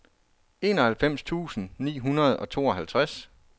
enoghalvfems tusind ni hundrede og tooghalvtreds